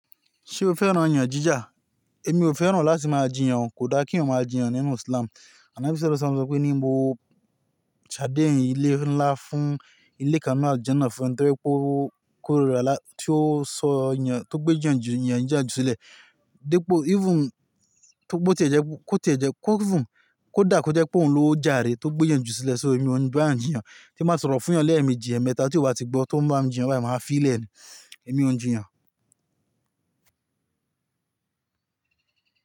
Ṣé o fẹ́ràn ọ̀yàn jíjà? Èmi ò fẹ́ràn láti máa jiyàn, kò dá kí èèyàn máa jiyàn nínú Islam. Anabi Sẹlọsọ lo sọ pé ní n bo ṣadéhìn ilé ńlá fún ilé Kan naa Aljanna fún ẹ́ńtírẹ́ẹ́po kóríra tí ó sọ ọ̀yàn, tó gbé jiyàn ju ọ̀yàn jíjà ju sílẹ̀. Dípò even tó kò tẹ̀jẹ́ kó tẹ̀jẹ́ kó even kó dà kó jẹ́ pé òun ló jàre, tó gbé jiyàn ju sílẹ̀. So èmi ò ń bae eeyan jiyàn, tí báa sọ̀rọ̀ fún eeyàn ni èmijì eemẹ́ta tí ó bá ti gbọ́, tó ń bá mi jiyàn báyìí máa fi í lẹ̀ ni. Èmi ò ń jiyàn.